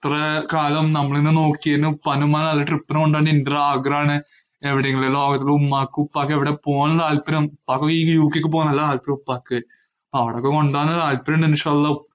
ഇത്രേം കാലം നമ്മള്നെ നോക്കിയേന് ഉപ്പാനും ഉമ്മാനും നല്ല trip ന് കൊണ്ടോന്ന് എന്റൊരാഗ്രഹാണ്. എവിടെയെങ്കിലും ലോകത്തില് ഉമ്മാക്കും ഉപ്പാക്കും എവിടെ പോവാനാണ് താൽപര്യം, ഉപ്പാക്ക് ഈ യു ക്കെക്ക് പോവാൻ നല്ല താല്പര്യാ ഉപ്പാക്ക്. അവിടൊക്കെ കൊണ്ടോവാൻ താല്പര്യം ഇണ്ട്.